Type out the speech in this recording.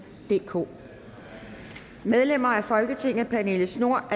DK medlemmer af folketinget pernille schnoor